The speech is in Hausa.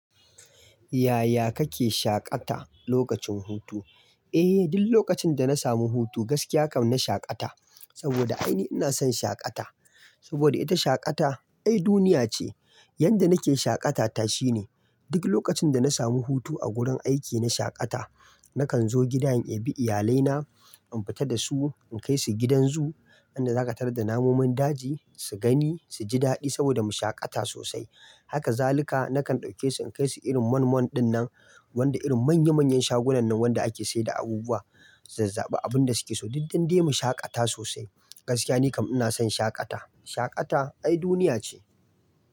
Yaya kake shaƙata lokacin hutu? Eh, duk lokacin da na samu hutu gaskiya kam na shaƙata. Saboda ainihi ina son shaƙata. Saboda ita shaƙata ai duniya ce. Yanda nake shaƙata ta shine, duk lokacin da na samu hutu a gurin aiki na shaƙata nakan zo gida in yi bi iyalai na, in fita da su, in kai su gidan zoo, inda za ka tar da namomin daji su gani su ji daɗi saboda mu shaƙata sosai. Haka zaluka nakan ɗauke su in kai su irin mall mall dinnan, wanda irin manya manyan shagunan nan wanda ake sayar da abubuwa, su zaba, abun da suke so duk duk dai mu shaƙata sosai. Gaskiya ni kam ina son shaƙata. Shaƙata ai duniya ce.